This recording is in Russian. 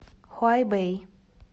хуайбэй